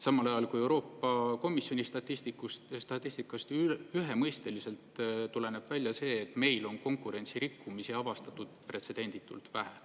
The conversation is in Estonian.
Samal ajal kui Euroopa Komisjoni statistikast ühemõisteliselt tuleneb välja see, et meil on konkurentsirikkumisi avastatud pretsedenditult vähe.